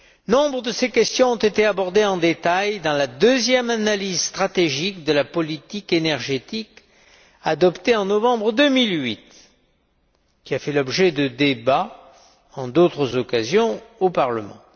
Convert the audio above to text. Nombre de ces questions ont été abordées en détail dans la deuxième analyse stratégique de la politique énergétique adoptée en novembre 2008, qui a fait l'objet de débats en d'autres occasions au Parlement.